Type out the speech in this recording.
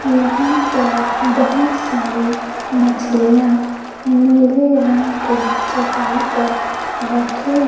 यहां पर बहुत सारी मछलियां नीले रंग के चटाई पर रखी--